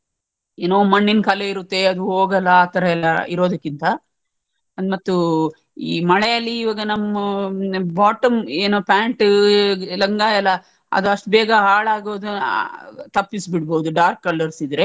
ಏನೋ ಮಣ್ಣಿನ್ ಕಲೆ ಇರುತ್ತೆ ಅದು ಹೋಗಲ್ಲ ಆತರ ಎಲ್ಲಾ ಇರೋದಕ್ಕಿಂತ ಅದ್ ಮತ್ತೂ ಈ ಮಳೆ ಅಲ್ಲಿ ಇವಾಗ ನಮ್ಮ್ bottom ಏನೋ pant ಲಂಗ ಎಲ್ಲ ಅದ್ ಅಷ್ಟ್ ಬೇಗ ಹಾಳಾಗೋದು ತಪ್ಪಿಸ್ಬಿಡ್ಬೋದುdark colours ಇದ್ರೆ.